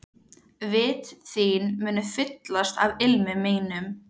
Vit þín munu fyllast af ilmi mínum.